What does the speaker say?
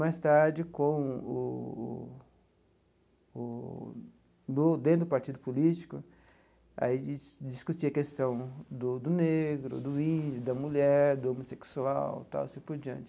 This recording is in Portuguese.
Mais tarde com o o o, do dentro do Partido Político, aí a gente discutia a questão do do negro, do índio, da mulher, do homossexual e tal, e assim por diante.